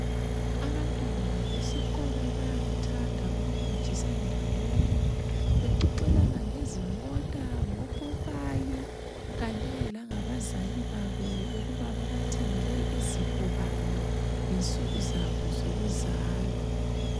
Abantwana besikolo bayakuthanda ukukwejisa ndawonye ,bexoxelana ngezimota ngophopayi kanye langabazali babo ukuba babathengele izipho bani ngensuku zabo zokuzalwa.